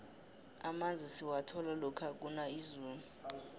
amanzi siwathola lokha kuna izulu